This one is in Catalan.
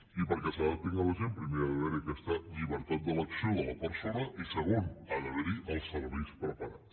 i perquè s’adaptin a la gent primer ha d’haver hi aquesta llibertat d’elecció de la persona i segon ha d’haver hi els serveis preparats